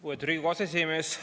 Lugupeetud Riigikogu aseesimees!